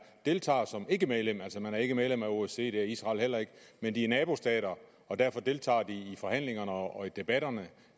deltager som ikkemedlem altså man er ikke medlem af osce det er israel heller ikke men de er nabostater og derfor deltager de i forhandlingerne og i debatterne